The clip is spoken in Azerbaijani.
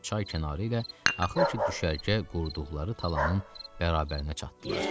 çay kənarı ilə axır ki düşərgə qurduqları talanın bərabərinə çatdılar.